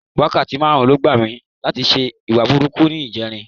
Wákàtí márùn-ún ló gbà mí láti se ẹwà burúkú yẹn níjẹrin.